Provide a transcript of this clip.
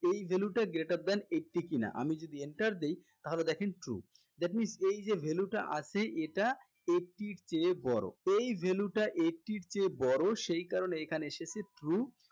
এই value টা greater than eighty কিনা আমি যদি enter দেই তাহলে দেখেন true that means এই যে value টা আছে এটা eighty এর চেয়ে বড়ো এই value টা eighty এর চেয়ে বড়ো সেই কারণে এখানে এসেছে true